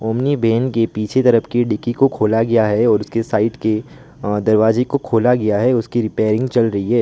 अपनी वैन के पीछे तरफ की डिग्गी को खोला गया है और उसके साइड के दरवाजे को खोला गया है उसकी रिपेयरिंग चल रही है।